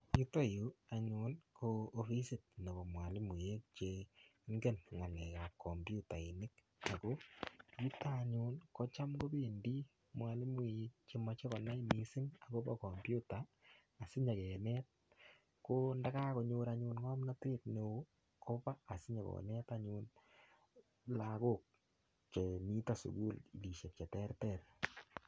Yoyo yuu anyun ko offisit nebo mwalimuek che ingen ngalekab komputainik Ako nito anyun kotam kopendii mwalimuinik chemoche konai missing akobo komputer sinyokenetko ndakakonyor anyun ngomnotet neo koba sinyokonet anyun lokok chemiten sukulishek cheterter.